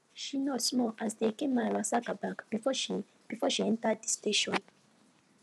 she nod small as de eke men ransack her bag before she before she enter de station